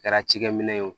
Kɛra cikɛ minɛn ye o